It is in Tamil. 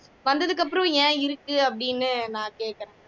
வந்ததுக்கு அப்புறம் ஏன் இருக்கு அப்படின்னு நான் கேக்குறேன்